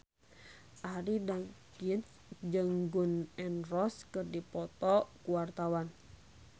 Arie Daginks jeung Gun N Roses keur dipoto ku wartawan